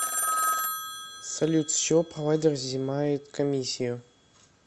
салют с чего провайдер взимает комиссию